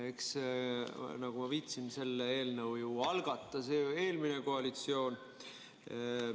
Nagu ma viitasin, selle eelnõu algatas eelmine koalitsioon.